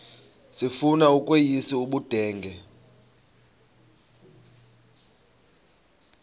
sifuna ukweyis ubudenge